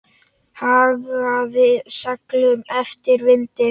Hagaði seglum eftir vindi.